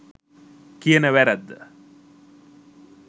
කියන වැරැද්ද